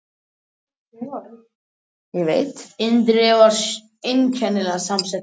Hún átti mjög erfitt og reyndi að vinna fyrir sér með einkakennslu.